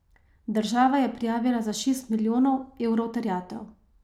Država je prijavila za šest milijonov evrov terjatev.